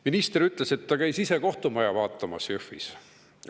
Minister ütles, et ta käis ise kohtumaja vaatamas Jõhvis.